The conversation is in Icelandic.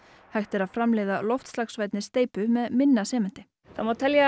hægt er að framleiða loftslagsvænni steypu með minna sementi það má telja